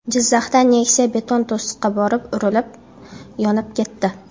Jizzaxda Nexia beton to‘siqqa borib urilib, yonib ketdi.